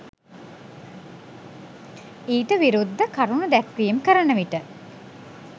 ඊට විරුද්ධ කරුණු දැක්වීම් කරන විට